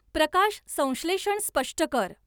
प्रकाशसंश्लेषण स्पष्ट कर